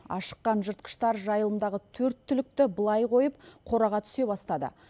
ашыққан жыртқыштар жайылымдағы төрт түлікті былай қойып қораға түсе бастады